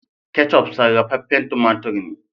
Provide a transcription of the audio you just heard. " ketchup " sarrafafen tumatur ne.